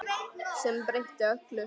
Sem breytti öllu.